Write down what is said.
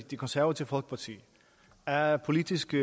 det konservative folkeparti af politiske